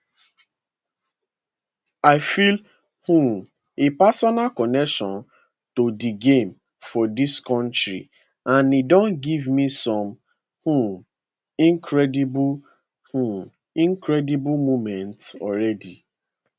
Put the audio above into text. i feel um a personal connection to di game for dis kontri and e don give me some um incredible um incredible moments already